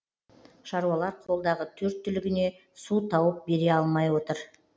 шаруалар қолдағы төрт түлігіне су тауып бере алмай отыр